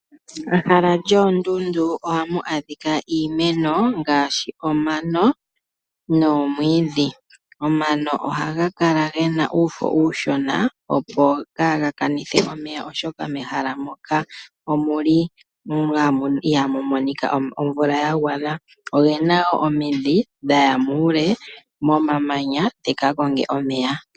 Mehala lyoondundu ohamu a dhika iimeno ngaashi omano noomwiidhi. Omano ohaga kala ge na uufo uushona, opo kaaga kanithe omeya oshoka mehala moka ihaamu monika omvula ya gwana. Oge na omidhi dha ya muule momamanya dhika konge omeya.